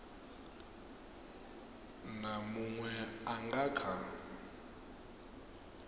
na muṅwe a nga kha